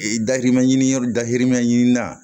Ee dahirimɛ ɲini yɔrɔ dahirimɛ ɲini na